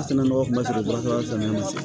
A sɛnɛ nɔgɔ kun man sɔrɔ baara ma se